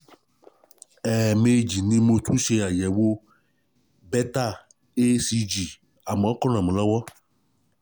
Ẹ̀ẹ̀mejì ni mo tún ṣe àyẹ̀wò Beta HCG, àmọ́, kò ràn mí lọ́wọ́